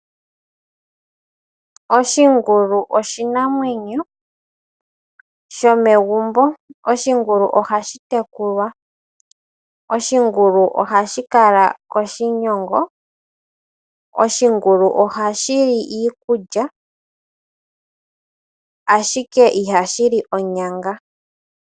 Oshingulu oshinamwenyo shomegumbo. Oshingulu ohashi tekulwa. Oshingulu ohashi kala koshigunda. Oshingulu ohashi li iikulya ashike ihashi li onyanga.